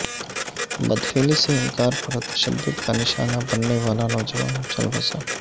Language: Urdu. بد فعلی سے انکار پر تشددکا نشانہ ننے والا نوجوان چل بسا